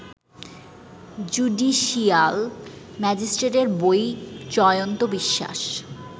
judicial magistrate বৈ জয়ন্ত বিশ্বাস